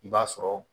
I b'a sɔrɔ